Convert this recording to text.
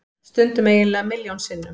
Stundum eiginlega milljón sinnum.